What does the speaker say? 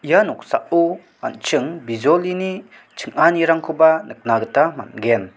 ia noksao an·ching bijolini ching·anirangkoba nikna gita man·gen.